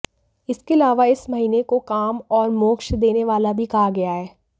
इसके अलावा इस महीने को काम और मोक्ष देने वाला भी कहा गया है